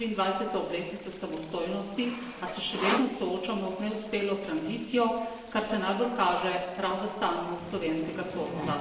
24. obletnico samostojnosti, a se še vedno soočamo z neuspelo tranzicijo, kar se najbolj kaže prav v stanju slovenskega sodstva.